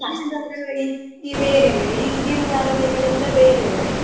ಧಾರಾವಾಹಿ ಎಲ್ಲಾ ಬೇರೆವೇ, ಈಗಿನ ಧಾರಾವಾಹಿಗಳೆಲ್ಲ ಬೇರೆವೇ.